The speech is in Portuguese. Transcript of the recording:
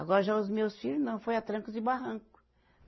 Agora já os meus filhos não, foi a trancos e barranco.